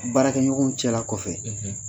Baarakɛ ɲɔgɔnw cɛla kɔfɛ.